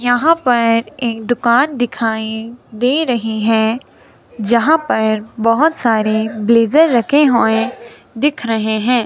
यहां पर एक दुकान दिखाई दे रही है जहां पर बहोत सारे ब्लेजर रखे हुए दिख रहे है।